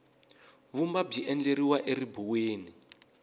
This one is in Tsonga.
vumba byi endleriwa eribuweni